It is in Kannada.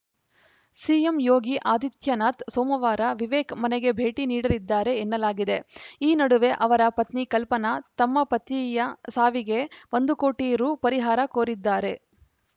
ಸಿಎಂ ಯೋಗಿ ಆದಿತ್ಯನಾಥ್‌ ಸೋಮವಾರ ವಿವೇಕ್‌ ಮನೆಗೆ ಭೇಟಿ ನೀಡಲಿದ್ದಾರೆ ಎನ್ನಲಾಗಿದೆ ಈ ನಡುವೆ ಅವರ ಪತ್ನಿ ಕಲ್ಪನಾ ತಮ್ಮ ಪತಿಯ ಸಾವಿಗೆ ಒಂದು ಕೋಟಿ ರು ಪರಿಹಾರ ಕೋರಿದ್ದಾರೆ